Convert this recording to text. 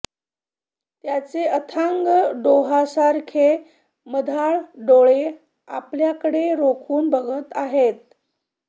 त्याचे अथांग डोहासारखे मधाळ डोळे आपल्याकडे रोखून बघत आहेत